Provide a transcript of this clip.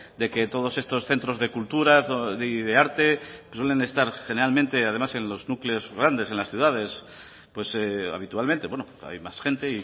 de que todos estos centros de cultura y de arte suelen estar generalmente en los núcleos grandes en las ciudades pues habitualmente bueno hay más gente